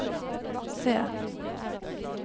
C